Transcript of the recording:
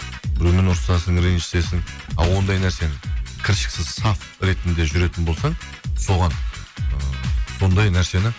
біреумен ұрысасың ренжісесің ал ондай нәрсені кіршіксіз саф ретінде жүретін болсаң соған ыыы сондай нәрсені